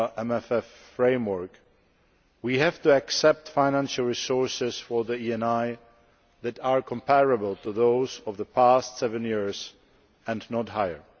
MFF context, we have to accept financial resources for the ENI that are comparable to those of the past seven years, and not higher.